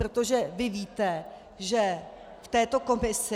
Protože vy víte, že v této komisi...